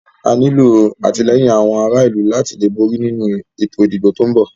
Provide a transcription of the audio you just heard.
A nílo àtìlẹ́yìn àwọn ará ìlú láti borí nínu ètò ìdìbò tí o ń bọ̀.